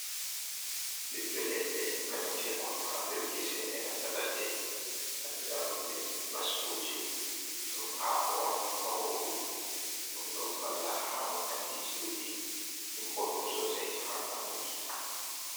Ɓibbe leɗɗe remetekon ha nder gese e nanta ladde, andra ɗum be basko je. Ɗum hako on borwu ɗum. Ɗum ɗon valla ha wakkati je ɗuɗɗi. Ɗum boddum sosai ha nyamuki.